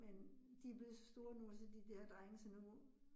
Men de blevet så store nu, så de der drenge, så nu